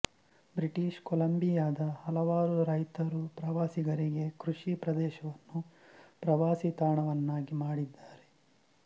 British ಕೊಲಂಬಿಯಾದ ಹಲವಾರು ರೈತರು ಪ್ರವಾಸಿಗರಿಗೆ ಕೃಷಿ ಪ್ರದೇಶವನ್ನು ಪ್ರವಾಸಿತಾಣವನ್ನಾಗಿ ಮಾಡಿದ್ದಾರೆ